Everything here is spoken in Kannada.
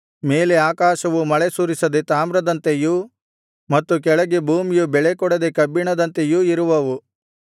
ಮೇಲೆ ಆಕಾಶವು ಮಳೆಸುರಿಸದೆ ತಾಮ್ರದಂತೆಯೂ ಮತ್ತು ಕೆಳಗೆ ಭೂಮಿಯು ಬೆಳೆಕೊಡದೆ ಕಬ್ಬಿಣದಂತೆಯೂ ಇರುವವು